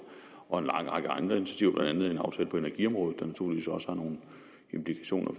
og en lang række andre initiativer blandt andet en aftale på energiområdet der naturligvis også har nogle implikationer